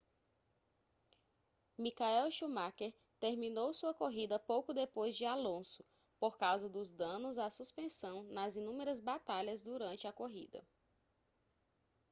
michael schumacher terminou sua corrida pouco depois de alonso por causa dos danos à suspensão nas inúmeras batalhas durante a corrida